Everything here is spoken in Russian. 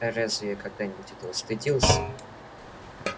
а разве я когда-нибудь этого стыдился